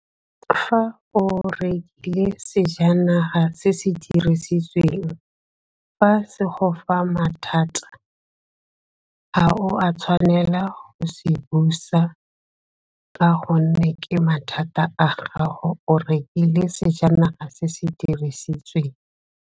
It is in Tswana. Fa o sejanaga se se dirisitsweng, fa se go fa mathata, ga o a tshwanela go se busa ka gonne ke mathata a gago, o rekile sejanaga se se dirisitsweng.